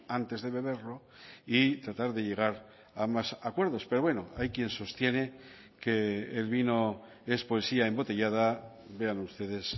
antes de beberlo y tratar de llegar a más acuerdos pero bueno hay quien sostiene que el vino es poesía embotellada vean ustedes